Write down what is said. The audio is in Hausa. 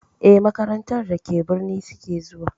Eh, makarantar da ke birni suke zuwa.